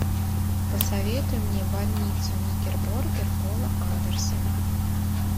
посоветуй мне больницу никербокер пола андерсона